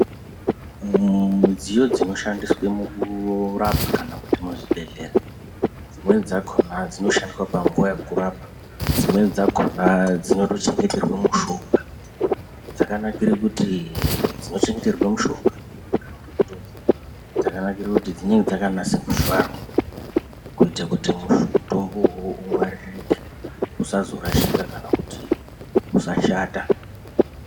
Midziyo dzinoshandiswe mukurapa kana muzvibhedhlera dzimweni dzakona dzinoshandiswa panguwa yekurapa dzimweni dzakona dzinotochengeterwe mushonga dzakanakire kuti dzinochengeterwe mushonga dzakanakire kuti dzinenge dzakanase kuvharwa kuite kuti mutombowo uwowo ungwaririke usazorashika kana kuti usashata.